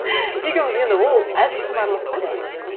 екеуіміз енді ол әзіл шыны аралас та негізі